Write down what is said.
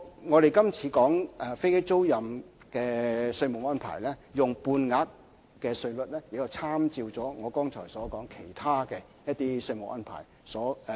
我們今次提出飛機租賃的稅務安排，採用半額稅率的做法，是參照了剛才說的其他稅務安排。